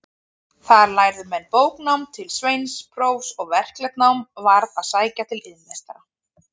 Þar lærðu menn bóknám til sveinsprófs, en verklegt nám varð að sækja til iðnmeistara.